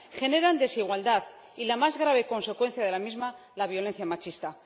generan desigualdad y la más grave consecuencia de la misma la violencia machista.